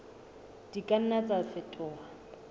di ka nna tsa fetoha